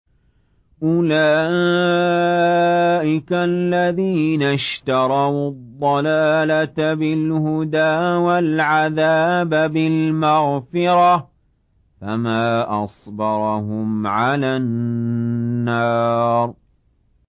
أُولَٰئِكَ الَّذِينَ اشْتَرَوُا الضَّلَالَةَ بِالْهُدَىٰ وَالْعَذَابَ بِالْمَغْفِرَةِ ۚ فَمَا أَصْبَرَهُمْ عَلَى النَّارِ